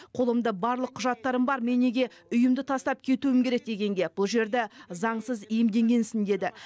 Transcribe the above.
қолымда барлық құжаттарым бар мен неге үйімді тастап кетуім керек дегенге бұл жерді заңсыз иемденгенсің деді